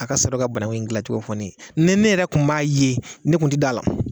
A ka sɔrɔ ka banangu in gilan cogo fɔ ne ye ne ne yɛrɛ kun m'a ye ne kun te d'a la